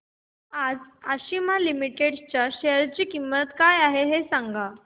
आज आशिमा लिमिटेड च्या शेअर ची किंमत काय आहे हे सांगा